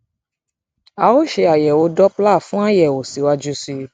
a ó ṣe àyẹwò doppler fún àyẹwò síwájú sí i